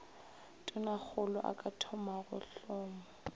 tonakgolo a ka thomago hlomo